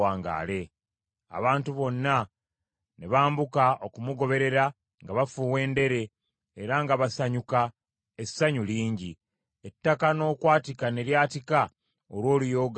Abantu bonna ne bambuka okumugoberera nga bafuuwa endere, era nga basanyuka essanyu lingi, ettaka n’okwatika ne lyatika olw’oluyoogaano olunene.